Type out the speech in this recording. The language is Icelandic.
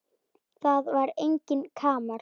Það var enginn kamar.